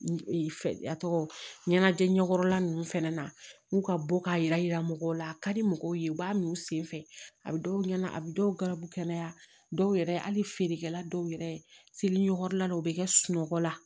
A tɔgɔ ɲɛnajɛ ɲɛkɔrɔla nunnu fɛnɛ na k'u ka bɔ k'a yira mɔgɔw la a ka di mɔgɔw ye u b'a min u sen fɛ a bi dɔw ɲɛna a bi dɔw gabu kɛnɛya dɔw yɛrɛ hali feerekɛla dɔw yɛrɛ seli ɲɔgɔn la u bɛ kɛ sunɔgɔ la